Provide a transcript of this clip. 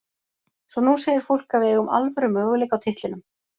Svo nú segir fólk að við eigum alvöru möguleika á titlinum.